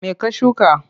Me ka shuka?